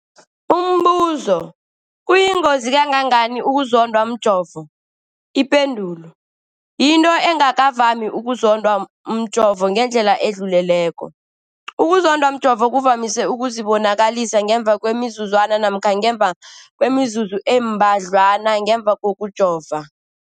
Umbuzo, kuyingozi kangangani ukuzondwa mjovo? Ipendulo, yinto engakavami ukuzondwa mjovo ngendlela edluleleko. Ukuzondwa mjovo kuvamise ukuzibonakalisa ngemva kwemizuzwana namkha ngemva kwemizuzu embadlwana ngemva kokujova.